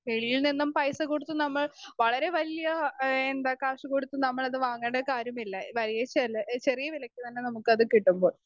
Speaker 2 വെളിയിൽനിന്നും പൈസകൊടുത്തു നമ്മൾ വളരെ വലിയ ആഹ് എന്താ കാശ് കൊടുത്തു നമ്മളത് വാങ്ങേണ്ട കാര്യമില്ല വലിയ ചെ എന്താ ചെറിയ വിലയ്ക്ക് തന്നെ നമുക്കത് കിട്ടുമ്പോൾ.